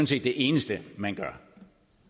set det eneste man